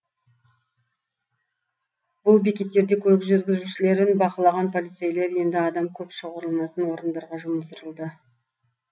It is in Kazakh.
бұл бекеттерде көлік жүргізушілерін бақылаған полицейлер енді адам көп шоғырланатын орындарға жұмылдырылды